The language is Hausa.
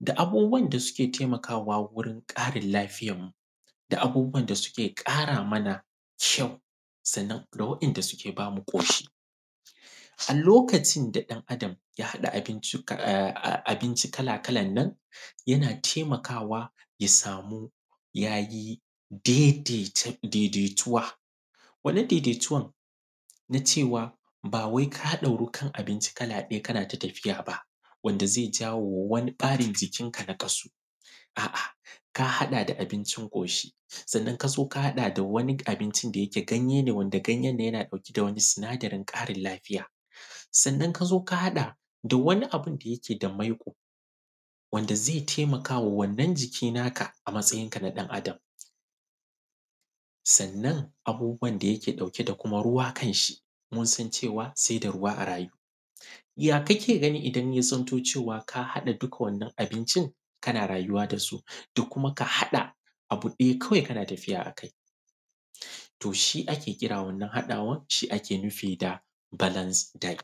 da: a:bu:bu:wa:n da: su:keˋ: ta:ima:ka:wa:a wu:ri:n ƙa:ri:n la:fi:ya:nmuˋ: da:n da: su:keˋ: ƙa:raˋ: ma:naˋ: kϳa:u: sa:nna:n da: wa:’i:ndaˋ: su:keˋ: ba:muˋ: ko:∫i: A: lo:ka:ʧi:n da: ɗa:n a:da:m ϳa: ha:ɗa: a:bi:nʧiˋ: kalaˋ kalan nan yanaˋ taimakawaˋ ya samuˋ ya yi daidai tuwaˋ, wannan daidaituwan na cewaˋ ba wai ka dauruˋ kan abincin kalaˋ ɗayaˋ kanaˋ ta tafiya ba, wandaˋ zai jawomaˋ waniˋ ɓarin jikinkaˋ nakasuˋ, a’a ka gadaˋ da abincin koshi sannan ka haɗaˋ da waniˋ abincin da yikeˋ ganyeˋ ne, wandaˋ ganyen nan yanaˋ daukeˋ da waniˋ sinadarin karin lafiyaˋ, sannan ka zo ka hadaˋ da waniˋ abindaˋ yikeˋ da maikoˋ wandaˋ zai taimakawaˋ wannan jikiˋ nakaˋ a matsayinkaˋ na ɗan adam Sannan abubuwan da yikeˋ daukeˋ da ruwaˋ kanshi, mun san cewaˋ sai da ruwaˋ a rayuˋ. Ya kakeˋ ganiˋ idan ka haɗaˋ duk wannan abincin kanaˋ rayuwaˋ da su? Da kuma ka haɗaˋ abu ɗayaˋ kawai kanaˋ tafiyaˋ akai? To shi ake kiran wannan haɗawan, shi ake kiraˋ da balas dat.